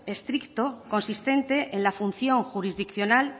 estricto consistente en la función jurisdiccional